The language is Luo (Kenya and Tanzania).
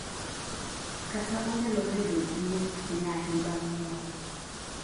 kata onyalo bedo gi nyith nyahi bang nyuol